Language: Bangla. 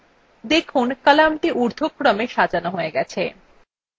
দেখুন কলামটি উর্ধক্রমে সাজানো হয়ে গেছে